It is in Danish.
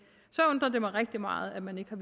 så undrer det mig rigtig meget at man ikke har